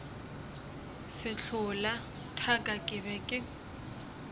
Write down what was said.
sehlola thaka ke be ke